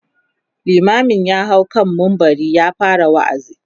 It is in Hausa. limamin ya hau kan mumbari ya fara waazi